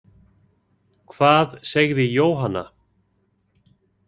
Hvað segði Jóhanna?